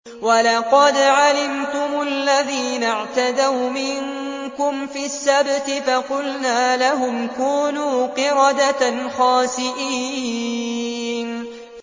وَلَقَدْ عَلِمْتُمُ الَّذِينَ اعْتَدَوْا مِنكُمْ فِي السَّبْتِ فَقُلْنَا لَهُمْ كُونُوا قِرَدَةً خَاسِئِينَ